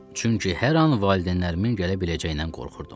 Çünki hər an valideynlərimin gələ biləcəyindən qorxurdum.